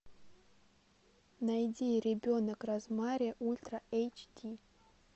найди ребенок розмари ультра эйч ди